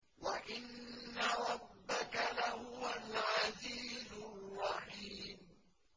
وَإِنَّ رَبَّكَ لَهُوَ الْعَزِيزُ الرَّحِيمُ